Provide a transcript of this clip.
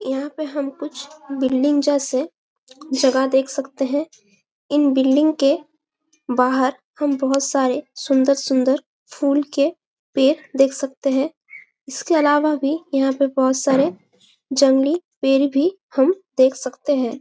यहाँ पे हम कुछ बिल्डिंग जैसे जगह देख सकते है इन बिल्डिंग के बाहर हम बहोत सारे सुंदर-सुंदर फूल के पेड़ देख सकते है इसके अलावा भी यहाँ पे बहुत सारे जंगली पेड़ भी हम देख सकते है। ।